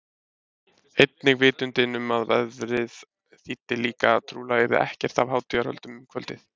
Einnig vitundin um að veðrið þýddi líka að trúlega yrði ekkert af hátíðahöldum um kvöldið.